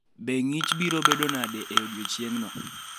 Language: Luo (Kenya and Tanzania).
Be ng’ich biro bedo nade e odiechieng’no?